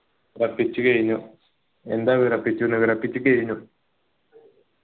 വിറപ്പിച്ചു കഴിനു എന്താ വിറപ്പിച്ചു വിറപ്പിച്ചു കഴിനു